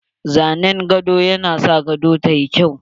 Zanen gado yana sa gado tayi kyau.